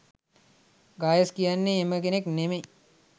ගායස් කියන්නේ එහෙම කෙනෙක් නෙමෙයි.